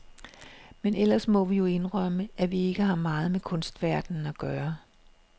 Men ellers må vi jo indrømme, at vi ikke har meget med kunstverdenen at gøre.